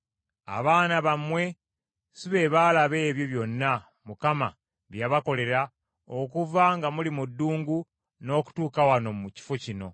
Abaana bammwe si be baalaba ebyo byonna Mukama bye yabakolera okuva nga muli mu ddungu n’okutuuka wano mu kifo kino,